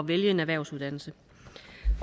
vælge en erhvervsuddannelse